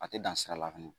A tɛ dan sira la fɛnɛ